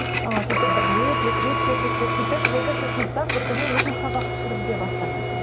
ыыы сөйтіп бір рет екі рет кешігіп келді сөйтіп екінші сыныпта бір күні өзім сабақты жүргізе бастағанмын